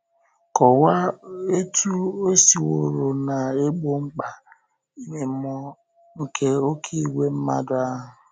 Kọwaa otú e siworo na-egbo mkpa ime mmụọ nke “oké ìgwè mmadụ” ahụ.